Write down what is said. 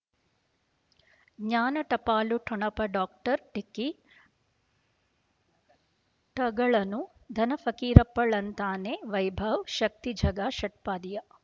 ಜ್ಞಾನ ಟಪಾಲು ಠೊಣಪ ಡಾಕ್ಟರ್ ಢಿಕ್ಕಿ ಟಗಳನು ಧನ ಫಕೀರಪ್ಪ ಳಂತಾನೆ ವೈಭವ್ ಶಕ್ತಿ ಝಗಾ ಷಟ್ಪದಿಯ